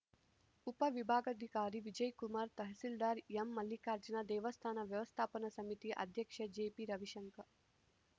ಉಪವಿಭಾಗಾಧಿಕಾರಿ ವಿಜಯ್‌ಕುಮಾರ್‌ ತಹಸೀಲ್ದಾರ್‌ ಎಂಮಲ್ಲಿಕಾರ್ಜುನ ದೇವಸ್ಥಾನ ವ್ಯವಸ್ಥಾಪನಾ ಸಮಿತಿ ಅಧ್ಯಕ್ಷ ಜೆಪಿ ರವಿಶಂಕರ್‌